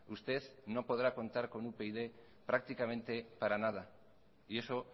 usted no podrá contar con upyd prácticamente para nada y eso